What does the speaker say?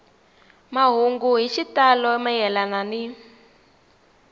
mahungu hi xitalo mayelana ni